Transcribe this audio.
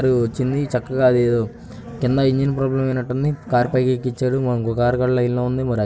Car వచ్చింది చక్కగా అవేవో కింద ఇంజన్ ప్రాబ్లం అయినట్టుంది కారు పైకి ఎక్కించారు ఇంకో కారు లైన్ లో ఉంది. మరి --